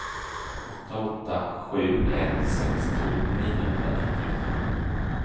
åtta åtta sju ett sextio niohundranittiofem